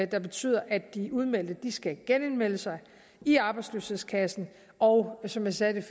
der betyder at de udmeldte skal genindmelde sig i arbejdsløshedskassen og som jeg sagde